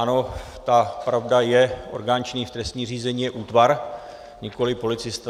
Ano, ta pravda je, orgán činný v trestním řízení je útvar, nikoliv policista.